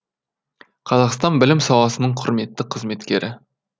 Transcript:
қазақстан білім саласының құрметті қызметкері